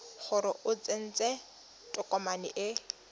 gore o tsentse tokomane e